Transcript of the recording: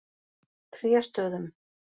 Tréstöðum